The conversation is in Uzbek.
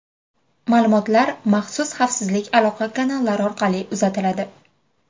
Ma’lumotlar maxsus xavfsiz aloqa kanallari orqali uzatiladi.